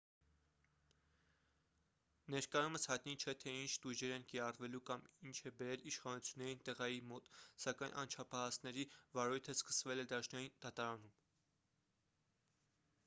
ներկայումս հայտնի չէ թե ինչ տույժեր են կիրառվելու կամ ինչն է բերել իշխանություններին տղայի մոտ սակայն անչափահասների վարույթը սկսվել է դաշնային դատարանում